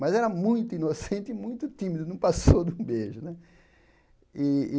Mas era muito inocente e muito tímido, não passou de um beijo né.